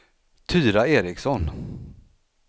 Tyra Ericsson